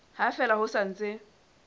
ha fela ho sa ntse